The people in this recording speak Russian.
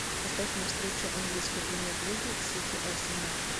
поставь мне встречу английской премьер лиги сити арсенал